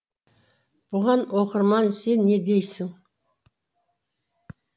бұған оқырман сен не дейсің